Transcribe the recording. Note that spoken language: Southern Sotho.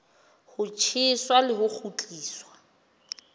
ho tjheswa le ho kgutliswa